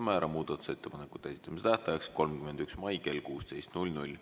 Määran muudatusettepanekute esitamise tähtajaks 31. mai kell 16.